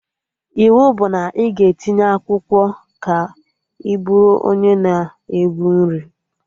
Iwu bụ na ị ga-etinye akwụkwọ ka ị bụrụ onye na-ebu nri